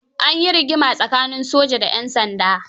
An yi rigima tsakanin soja da 'yan sanda.